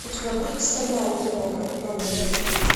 у тебя будет стальная тревога новый рейд